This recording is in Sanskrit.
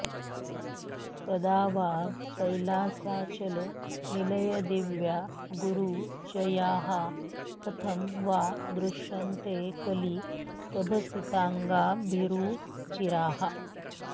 कदा वा कैलासाचलनिलयदिव्या गुरुचयाः कथं वा दृश्यन्ते कलितभसिताङ्गाभिरुचिराः